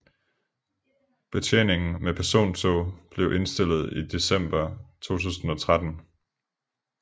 Betjeningen med persontog blev indstillet i december 2013